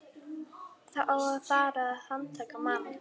Það á að fara að handtaka mann.